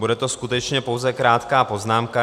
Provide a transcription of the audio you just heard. Bude to skutečně pouze krátká poznámka.